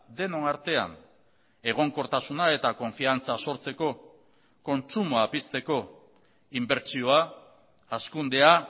denon artean egonkortasuna eta konfiantza sortzeko kontsumoa pizteko inbertsioa hazkundea